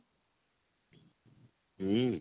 ହୁଁ?